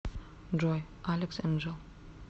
джой алекс энджэл